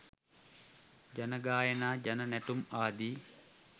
ජන ගායනා ජන නැටුම් ආදී